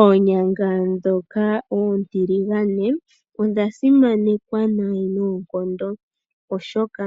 Oonyanga ndhoka oontiligane odha simanekwa noonkondo oshoka